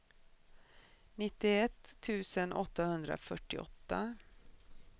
nittioett tusen åttahundrafyrtioåtta